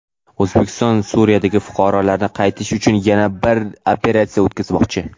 O‘zbekiston Suriyadagi fuqarolarini qaytarish uchun yana bir operatsiya o‘tkazmoqchi.